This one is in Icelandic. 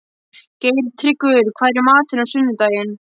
Geirtryggur, hvað er í matinn á sunnudaginn?